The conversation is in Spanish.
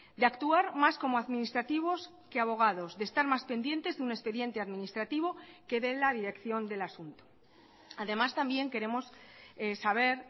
de actuar más como administrativos que abogados de estar más pendientes de un expediente administrativo que de la dirección del asunto además también queremos saber